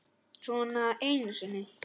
Svona einu sinni?